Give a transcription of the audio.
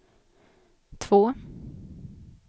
två